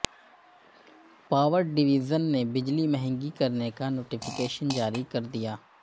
power division نے بجلی مہنگی کرنے کا نوٹیفکیشن جاری کردیا